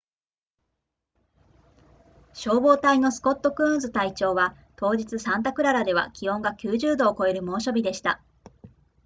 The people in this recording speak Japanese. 消防隊のスコットクーンズ隊長は当日サンタクララでは気温が90度を超える猛暑日でした